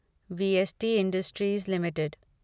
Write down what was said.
VST industries limited